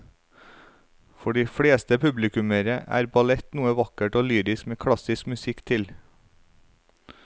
For de fleste publikummere er ballett noe vakkert og lyrisk med klassisk musikk til.